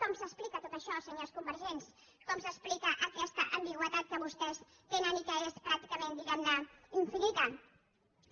com s’explica tot això senyors convergents com s’explica aquesta ambigüitat que vostès tenen i que és pràcticament diguem ne infinita